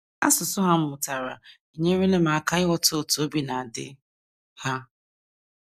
Asụsụ ha m mụtara enyerela m aka ịghọta otú obi na - adị ha.